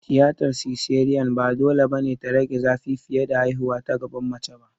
Tiyatar siseriyan ba dole ba ne ta rage zafi fiye da haihuwa ta gaban mace ba.